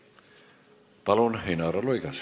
Palun, Inara Luigas!